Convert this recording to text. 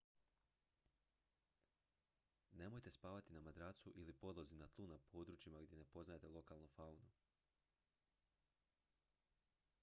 nemojte spavati na madracu ili podlozi na tlu na područjima gdje ne poznajete lokalnu faunu